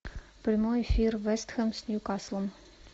прямой эфир вест хэм с ньюкаслом